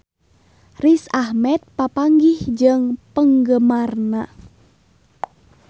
Riz Ahmed papanggih jeung penggemarna